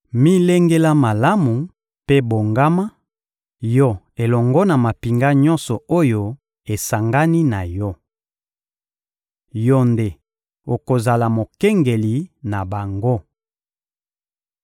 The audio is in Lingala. Milengela malamu mpe bongama, yo elongo na mampinga nyonso oyo esangani na yo! Yo nde okozala mokengeli na bango.